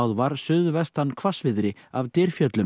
var suðvestan hvassviðri af